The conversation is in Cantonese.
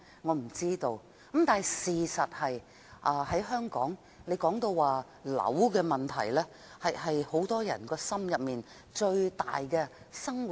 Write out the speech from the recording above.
我不知道；但事實是，在香港提到房屋的問題，這是很多人心中一根最大的刺。